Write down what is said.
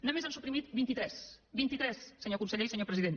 només n’han suprimit vint itres vint i tres senyor conseller i senyor president